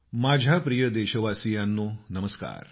माझ्या प्रिय देशवासियांनो नमस्कार